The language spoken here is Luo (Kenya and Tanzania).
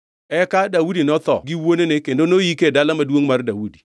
Eka Daudi notho gi wuonene kendo noyike e Dala Maduongʼ mar Daudi.